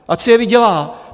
Ať si je vydělá!